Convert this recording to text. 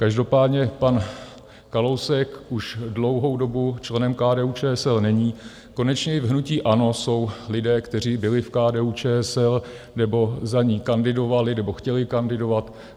Každopádně pan Kalousek už dlouhou dobu členem KDU-ČSL není, konečně i v hnutí ANO jsou lidé, kteří byli v KDU-ČSL nebo za ni kandidovali nebo chtěli kandidovat.